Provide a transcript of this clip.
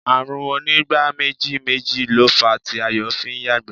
Ààrùn onígbáméjì méjì ló fàá tí Ayọ̀ fi ń yàgbẹ́